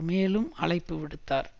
மேலும் அழைப்பு விடுத்தார்